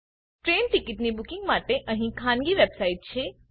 train ticket booking માટે અહીં ખાનગી વેબસાઈટ છે